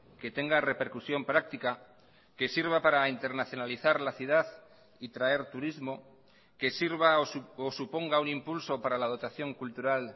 que tenga repercusión práctica que sirva para internacionalizar la ciudad y traer turismo que sirva o suponga un impulso para la dotación cultural